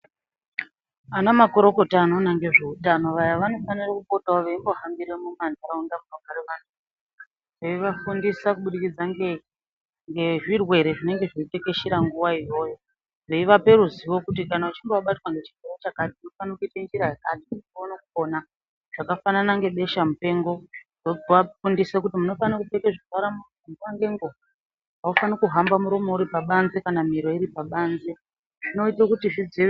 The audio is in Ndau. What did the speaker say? Anamakorokota anoona ngezveutano waya, wanofanira kuhambira muma nharaunda munogara wanhu eiwafundisa kubudikidza nezvirwere zvinenge zveitekeshera nguweyo, weiwapa ruziwo kuti kana uchinge wabatwa ngechirwere chakati unofanira kuita njira yakati uone kupona, zvakafanana ngebesha mupengo, wowafundisa kuti munofanira kupfeka nguwa nenguwa, munofanira kuhamba muromo kana miro iri pabanze zvinoita kuti zvidzi..